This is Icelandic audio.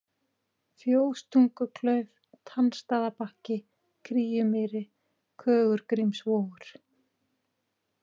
Fjóstunguklauf, Tannstaðabakki, Kríumýri, Kögurgrímsvogur